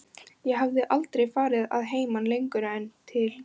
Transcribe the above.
Ég hafði aldrei farið að heiman lengur en til